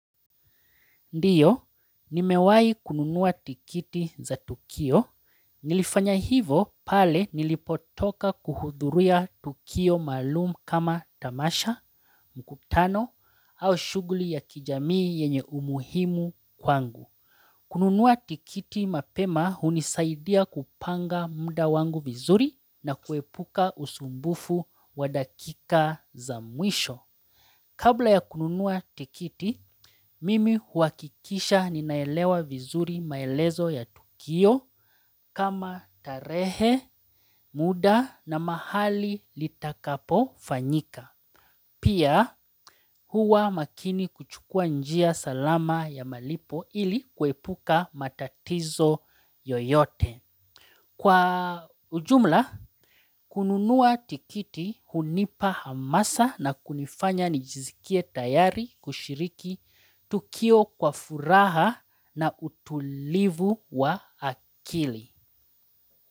Ndiyo, nimewai kununua tikiti za tukio. Nilifanya hivo pale nilipotoka kuhudhuria tukio maalum kama tamasha, mkutano, au shughuli ya kijamii yenye umuhimu kwangu. Kununuwa tikiti mapema hunisaidia kupanga muda wangu vizuri na kuepuka usumbufu wadakika za mwisho. Kabla ya kununua tikiti, mimi huakikisha ninaelewa vizuri maelezo ya tukio kama tarehe, muda na mahali litakapo fanyika. Pia huwa makini kuchukua njia salama ya malipo ili kwepuka matatizo yoyote. Kwa ujumla, kununua tikiti hunipa hamasa na kunifanya nijisikie tayari kushiriki tukio kwa furaha na utulivu wa akili.